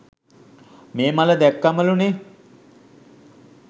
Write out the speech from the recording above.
මේ මල දැක්කමලුනේ.